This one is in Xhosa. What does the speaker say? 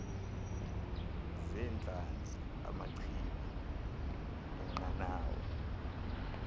zeentlanzi amachibi eenqanawa